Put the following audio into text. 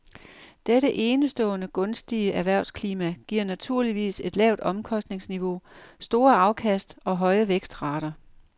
Dette enestående gunstige erhvervsklima giver naturligvis et lavt omkostningsniveau, store afkast og høje vækstrater.